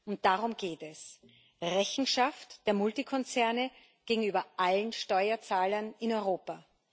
Und darum geht es Rechenschaft der Multikonzerne gegenüber allen Steuerzahlern in Europa.